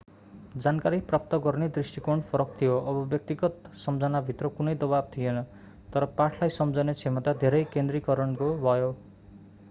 जानकारी प्राप्त गर्ने दृष्टिकोण फरक थियो अब व्यक्तिगत सम्झनाभित्र कुनै दबाव थिएन तर पाठलाई सम्झने क्षमता धेरै केन्द्रीकरणको भयो